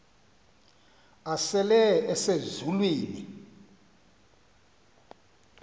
asele ese zulwini